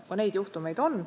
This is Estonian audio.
Ka niisuguseid juhtumeid on.